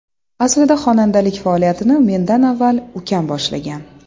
Aslida xonandalik faoliyatini mendan avval ukam boshlagan.